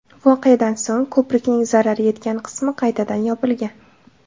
Voqeadan so‘ng, ko‘prikning zarar yetgan qismi qaytadan yopilgan.